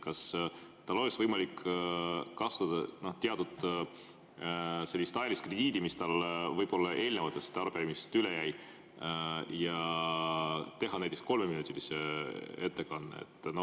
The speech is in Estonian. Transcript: Kas tal oleks võimalik kasutada teatud ajalist krediiti, mis tal võib-olla eelnevatest arupärimistest üle jäi, ja teha näiteks kolmeminutiline ettekanne?